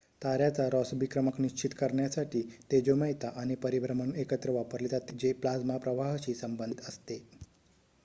ताऱ्याचा Rossby क्रमांक निश्चित करण्यासाठी तेजोमयता आणि परिभ्रमण एकत्र वापरले जाते जे प्लाझ्मा प्रवाहाशी संबंधित असते